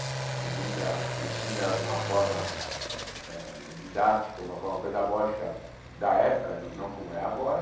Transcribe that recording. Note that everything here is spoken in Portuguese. o ensino era de uma forma eh didática, uma forma pedagógica da época, não como é agora.